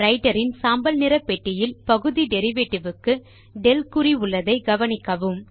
writer இன் சாம்பல் நிற பெட்டியில் பகுதி டெரிவேட்டிவ் க்கு del குறி உள்ளதை கவனிக்கவும்